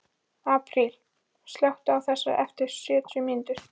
Apríl, slökktu á þessu eftir sjötíu mínútur.